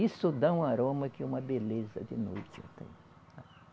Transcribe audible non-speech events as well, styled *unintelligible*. Isso dá um aroma que é uma beleza de noite. *unintelligible*